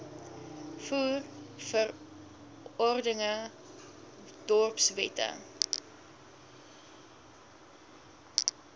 voer verordeninge dorpswette